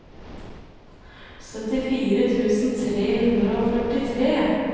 syttifire tusen tre hundre og førtitre